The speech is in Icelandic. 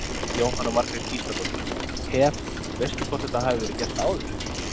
Jóhanna Margrét Gísladóttir: Hef, veistu hvort þetta hafi verið gert áður?